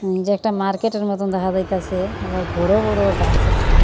একটা মার্কেটের মতন দেখা যাইতাসে আবার বড় বড় গাস আছে।